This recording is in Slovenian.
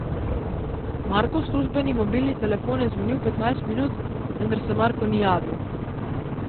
Markov službeni mobilni telefon je zvonil petnajst minut, vendar se Marko ni javil.